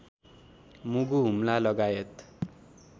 मुगु हुम्ला लगायत